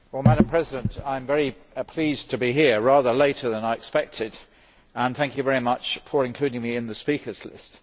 Madam President, I am very pleased to be here rather later than I expected, and thank you very much for including me in the speakers' list.